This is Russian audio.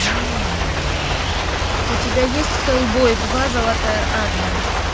у тебя есть хеллбой два золотая армия